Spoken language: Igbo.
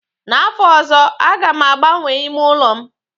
N'afọ ọzọ, aga m agbanwee ime ụlọ m